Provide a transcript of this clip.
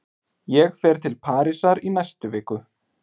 Ég fer til Parísar í næstu viku.